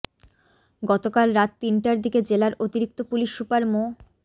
গতকাল রাত তিনটার দিকে জেলার অতিরিক্ত পুলিশ সুপার মো